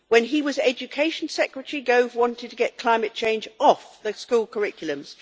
When he was Education Secretary, Gove wanted to get climate change off the school curriculums.